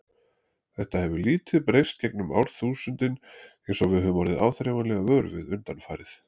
Þetta hefur lítið breyst gegnum árþúsundin eins og við höfum orðið áþreifanlega vör við undanfarið.